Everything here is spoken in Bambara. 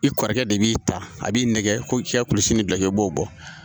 I kɔrɔkɛ de b'i ta a b'i nɛgɛ ko i ka kulisi ni gilan i b'o bɔ